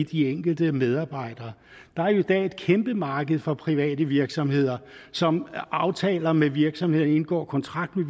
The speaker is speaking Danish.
de enkelte medarbejdere der er jo i dag et kæmpe marked for private virksomheder som aftaler med virksomheder og indgår kontrakt med